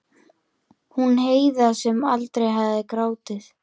Theódór, ferð þú með okkur á föstudaginn?